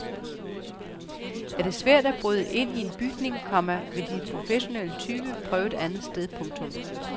Er det svært at bryde ind i en bygning, komma vil de professionelle tyve prøve et andet sted. punktum